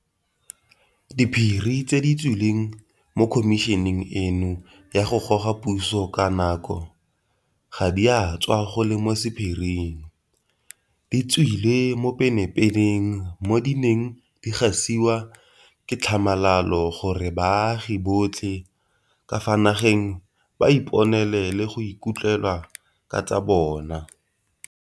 Diphiri tse di tswileng mo khomišeneng eno ya go goga puso ka nko ga di a tswa go le mo sephiring, di tswile mo pepeneneng mo di neng di gasiwa ka tlhamalalo gore baagi botlhe ka fa nageng ba iponele le go ikutlwela ka tsa bona.